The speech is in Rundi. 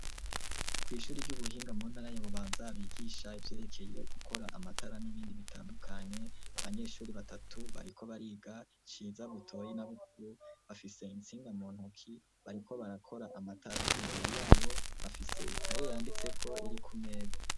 Kw' ishuri ry'ubuhinga mu ntara ya Bubanza bigisha ivyerekeye gukora amatara n'ibindi bitandukanye, abanyeshuri batatu bariko bariga Ciza, Butoyi na Bukuru bafise intsinga mu ntoki bariko barakora amatara imbere yabo bafise ikaye yanditseko iri ku meza.